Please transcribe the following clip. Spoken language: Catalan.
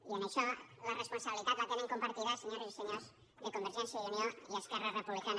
i en això la responsabilitat la tenen compartida senyores i senyors convergència i unió i esquerra republicana